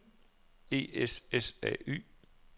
E S S A Y